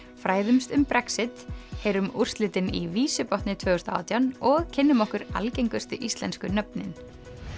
fræðumst um Brexit heyrum úrslitin í tvö þúsund og átján og kynnum okkur algengustu íslensku nöfnin